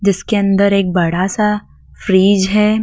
जिसके अंदर एक बड़ा सा फ्रिज है।